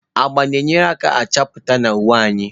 Agba na-agbakwunye nchapụta na uwe anyị.